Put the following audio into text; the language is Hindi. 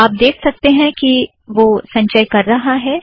आप देख सकतें हैं कि वह संचय कर रहा है